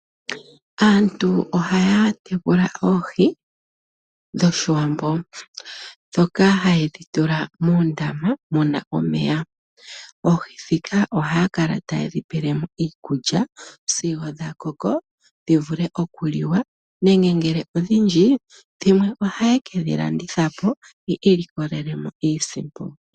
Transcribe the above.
Aantu ohaya tekula oohi dhoshiwambo, ndhoka haye dhitula muundama muna omeya, oohi ndhika ohaakala taye dhipelemo iikulya sigo dhakoko dhivule okuliwa nenge ngele odhindji dhimwe ohayeke dhilandithapo yekelikolelemo iisimpo.